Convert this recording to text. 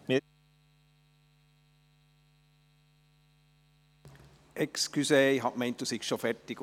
Entschuldigen Sie, ich dachte, Sie seien fertig.